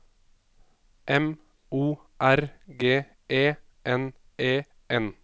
M O R G E N E N